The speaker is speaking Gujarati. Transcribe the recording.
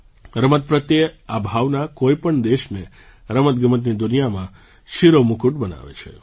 રમત પ્રત્યે આ ભાવના કોઈ પણ દેશને રમતગમતની દુનિયામાં શિરોમુકુટ બનાવે છે